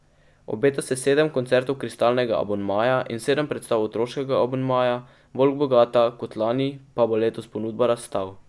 Obeta se sedem koncertov kristalnega abonmaja in sedem predstav otroškega abonmaja, bolj bogata kot lani pa bo letos ponudba razstav.